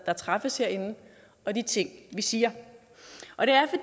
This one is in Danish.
der træffes herinde og de ting vi siger og det